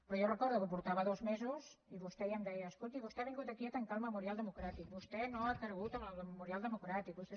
però jo recordo que portava dos mesos i vostè ja em deia escolti vostè ha vingut aquí a tancar el memorial democràtic vostè no ha cregut en el memorial democràtic vostè